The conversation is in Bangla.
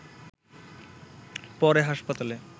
পরে হাসপাতালে